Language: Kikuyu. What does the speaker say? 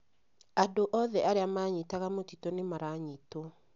Andũ othe arĩa maanyitaga mĩtitũ nĩ maranyitwo.